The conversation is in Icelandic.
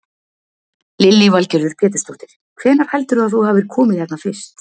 Lillý Valgerður Pétursdóttir: Hvenær heldurðu að þú hafir komið hérna fyrst?